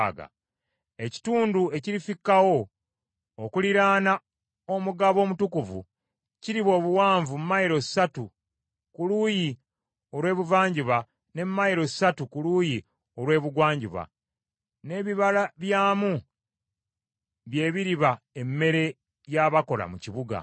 Ekitundu ekirifikkawo okuliraana omugabo omutukuvu, kiriba obuwanvu mayilo ssatu ku luuyi olw’ebuvanjuba ne mayilo ssatu ku luuyi olw’ebugwanjuba, n’ebibala byamu bye biriba emmere y’abakola mu kibuga.